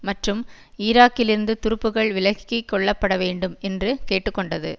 மற்றும் ஈராக்கிலிருந்து துருப்புக்கள் விலக்கி கொள்ளப்படவேண்டும் என்று கேட்டு கொண்டது